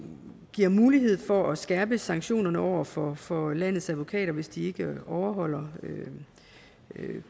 giver mulighed for at skærpe sanktionerne over for for landets advokater hvis de ikke overholder